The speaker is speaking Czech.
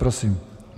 Prosím.